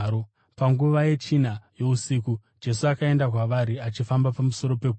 Panguva yechina yousiku Jesu akaenda kwavari, achifamba pamusoro pegungwa.